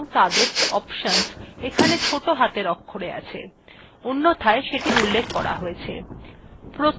সমস্ত র্নিদেশাবলী এবং তাদের options এখানে ছোট হাতের অক্ষরে আছে অন্যথায় সেটি উল্লেখ করা আছে